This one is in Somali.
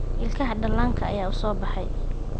Ilkaha dhallaanka ayaa soo baxay.